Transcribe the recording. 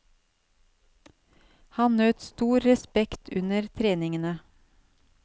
Han nøt stor respekt under treningene.